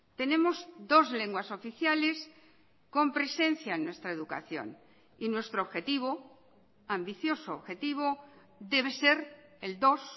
tenemos dos lenguas oficiales con presencia en nuestra educación y nuestro objetivo ambicioso objetivo debe ser el dos